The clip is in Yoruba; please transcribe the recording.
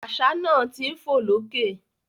Àṣà náà ti ń fò lókè